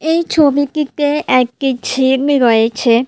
এই ছবিটিতে একটি ঝিম রয়েছে।